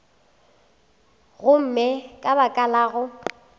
gomme ka baka la go